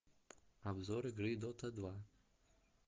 обзор игры дота два